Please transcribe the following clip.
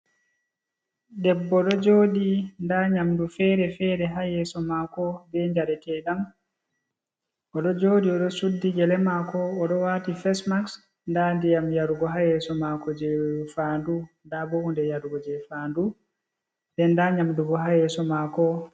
Debbo ɗo jooɗi, nda nyamdu fere-fere ha yeeso maako, be djareteeɗam, o ɗo jooɗi o ɗo suddi gele maako, o ɗo waati fes-maks, nda ndiyam yarugo ha yeeso maako je faandu, nda bo hunde yarugo je faandu, nden nda nyamdu bo ha yeeso maako.